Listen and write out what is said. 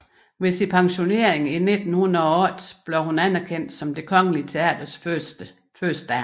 Ved sin pensionering i 1908 blev hun anerkendt som Det Kongelige Teaters førstedame